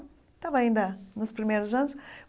Estava ainda nos primeiros anos.